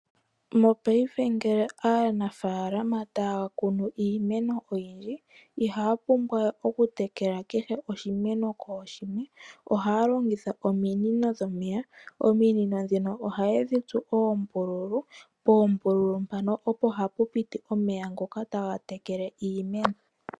Mopayife ngele aanafaalama taya kunu iimeno oyindji ihaya pumbwa okutekela kehe oshimeno kooshimwe . Ohaya longitha ominino dhomeya. Ominino ndhino ohaye dhitsu oombululu, poombululu opo hapu piti omeya ngoka taga tekele iimeno